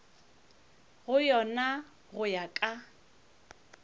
go yona go ya ka